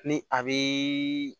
Ni a be